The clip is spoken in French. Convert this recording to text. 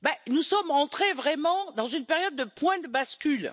Nous sommes entrés vraiment dans une période de point de bascule.